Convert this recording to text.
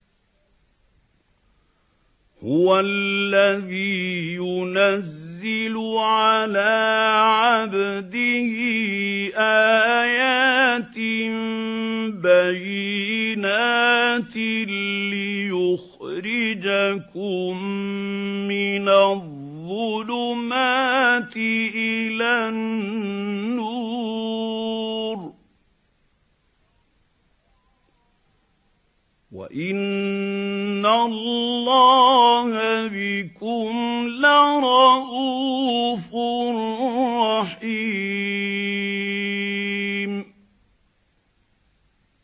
هُوَ الَّذِي يُنَزِّلُ عَلَىٰ عَبْدِهِ آيَاتٍ بَيِّنَاتٍ لِّيُخْرِجَكُم مِّنَ الظُّلُمَاتِ إِلَى النُّورِ ۚ وَإِنَّ اللَّهَ بِكُمْ لَرَءُوفٌ رَّحِيمٌ